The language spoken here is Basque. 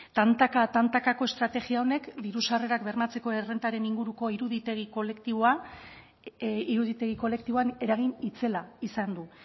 tantaka tantakako estrategia honek diru sarrerak bermatzeko errentaren inguruko iruditegi kolektiboa iruditegi kolektiboan eragin itzela izan du